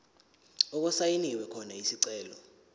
okusayinwe khona isicelo